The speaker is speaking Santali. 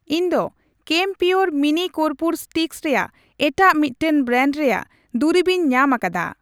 ᱤᱧ ᱫᱚ ᱠᱮᱢᱯᱤᱭᱳᱨ ᱢᱤᱱᱤ ᱠᱚᱨᱯᱩᱨ ᱥᱴᱤᱠᱥ ᱨᱮᱭᱟᱜ ᱮᱴᱟᱜ ᱢᱤᱫᱴᱟᱝ ᱵᱨᱟᱱᱰ ᱨᱮᱭᱟᱜ ᱫᱩᱨᱤᱵᱤᱧ ᱧᱟᱢ ᱟᱠᱟᱫᱟ ᱾